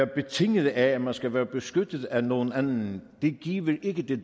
betinget af at man skal være beskyttet af nogen anden giver ikke det